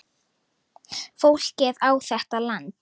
Fólkið á þetta land.